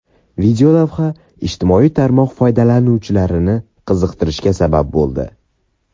Videolavha ijtimoiy tarmoq foydalanuvchilari qiziqishiga sabab bo‘ldi.